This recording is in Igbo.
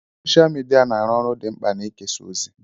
Sọsha midia na-arụ ọrụ dị mkpa n'ịkesa ozi.